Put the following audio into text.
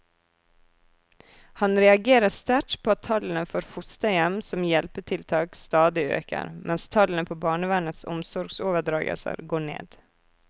Han reagerer sterkt på at tallene for fosterhjem som hjelpetiltak stadig øker, mens tallene på barnevernets omsorgsoverdragelser går ned.